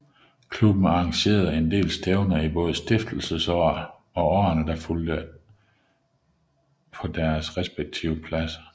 Klubben arrangerede en del stævner i både stiftelsesåret og årene der fulgte på deres respektive pladser